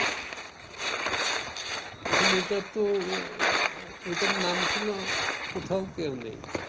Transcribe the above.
এখন এটাতো ঐটার ছিল কোথাও কেউ নেই।